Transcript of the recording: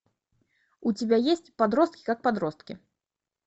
у тебя есть подростки как подростки